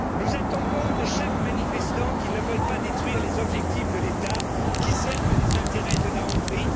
Nous attendons de chaque manifestant qu'il ne veuille pas détruire les objectifs de l'État, qui servent les intérêts de la Hongrie